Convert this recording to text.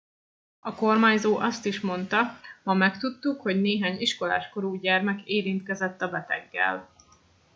a kormányzó azt is monda ma megtudtuk hogy néhány iskolás korú gyermek érintkezett a beteggel